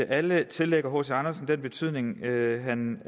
alle tillægger hc andersen den betydning han